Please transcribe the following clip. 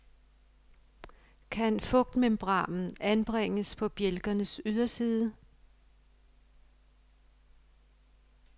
Kan fugtmembranen anbringes på bjælkernes yderside?